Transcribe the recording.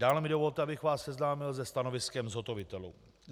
Dále mi dovolte, abych vás seznámil se stanoviskem zhotovitelů.